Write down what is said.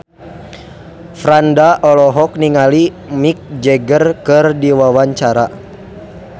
Franda olohok ningali Mick Jagger keur diwawancara